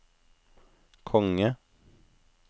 konge